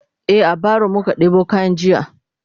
e a baro muka ɗebo kayan jiya